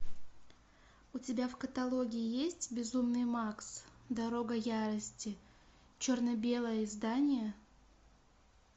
у тебя в каталоге есть безумный макс дорога ярости черно белое издание